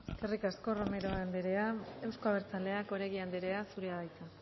eskerrik asko romero anderea euzko abertzaleak oregi anderea zurea da hitza